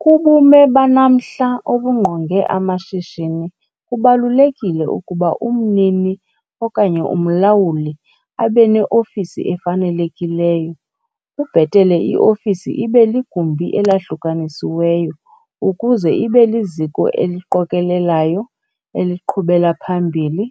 Kubume banamhla obungqonge amashishini kubalulekile ukuba umnini okanye umlawuli abe neofisi efanelekileyo. Kubhetele iofisi ibe ligumbi elahlukanisiweyo ukuze ibe liziko eliqokelelayo, eliqhubela phambili,